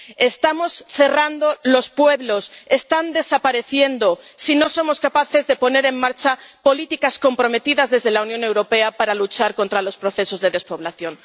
estamos cerrando los pueblos, desaparecerán si no somos capaces de poner en marcha políticas comprometidas desde la Unión Europea para luchar contra los procesos de despoblación.